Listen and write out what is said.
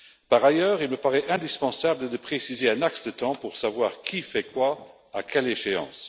Par ailleurs, il me paraît indispensable de préciser un axe de temps pour savoir qui fait quoi et à quelle échéance.